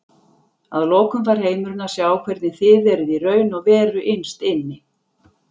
Að lokum fær heimurinn að sjá hvernig þið eruð í raun og veru innst inni.